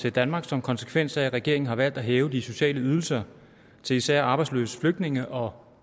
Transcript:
til danmark som konsekvens af at regeringen har valgt at hæve de sociale ydelser til især arbejdsløse flygtninge og